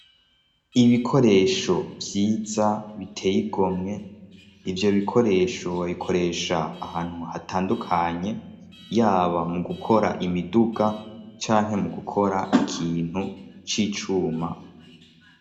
Ibikoresho vyiza biteye igomwe. Ivyo bikoresho babikoresha ahantu hatandukanye, yaba mu gukora imiduga canke mu gukora ikintu c'icuma.